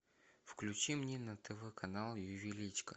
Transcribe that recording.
включи мне на тв канал ювелирочка